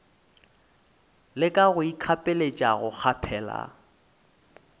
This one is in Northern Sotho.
leka go ikgapeletša go kgaphela